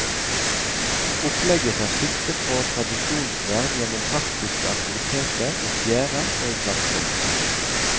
Opplegget tar sikte på tradisjonsvern gjennom praktiske aktiviteter i fjæra og i klasserommet.